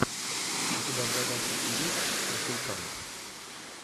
у тебя в загашнике есть консультант